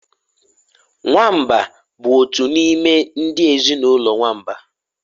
Nwamba bụ otu n'ime ndị ezinụlọ nwamba